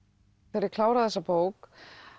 þegar ég kláraði þessa bók